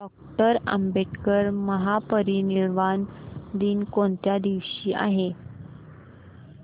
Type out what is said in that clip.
doctor Ambedkar महापरिनिर्वाण दिन कोणत्या दिवशी आहे